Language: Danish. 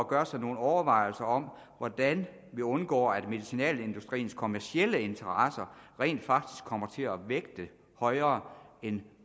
gøre sig nogle overvejelser om hvordan vi undgår at medicinalindustriens kommercielle interesser rent faktisk kommer til at vægte højere end